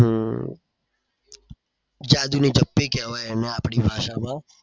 હમ જાદુની જપ્પી કેવાય એને આપડી ભાષામાં.